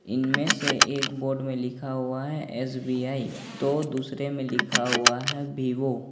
इनमें से एक बोर्ड में लिखा गया है एस_बी_आई तो दूसरे मैं लिखा हुआ है बिवो ।